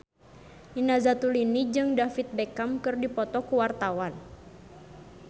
Nina Zatulini jeung David Beckham keur dipoto ku wartawan